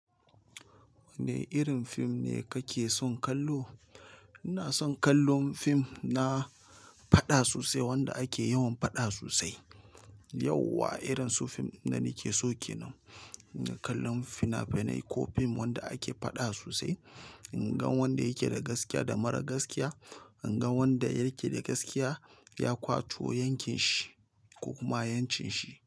Wanne irin fim ne kake son kallo? Ina son kallon fim na faɗa sosai wanda ake yawan faɗa sosai. Yauwa irin su fim na nake soke nan, kallon fina-finai ko fim wanda ake faɗa sosai. In ga wanda yake da gaskiya da mara gaskiya, in ga wanda yake da gaskiya ya kwato yankin shi ko kuma yancin shi.